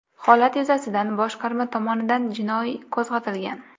Holat yuzasidan boshqarma tomonidan jinoiy qo‘zg‘atilgan.